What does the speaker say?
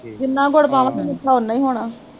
ਜਿੰਨਾ ਗੁੜ ਪਾਵਾਂਗੇ ਮਿੱਠਾ ਓਨਾ ਈ ਹੋਣਾ